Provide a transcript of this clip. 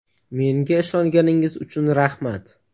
Menga ishonganingiz uchun rahmat.